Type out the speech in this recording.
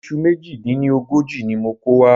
Iṣu méjì dín ní ọgọ́jọ ni mo kò wá